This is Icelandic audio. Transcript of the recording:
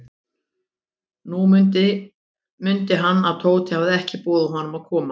Nú mundi hann, að Tóti hafði ekki boðið honum að koma.